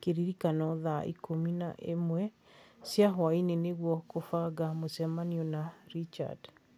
kĩririkano thaa ikũmi na ĩmwe cia hwaĩinĩ nĩguo kũbanga mũcemanio na Richard